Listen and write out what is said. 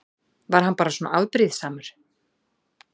Var hann bara svona afbrýðisamur?